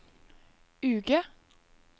uke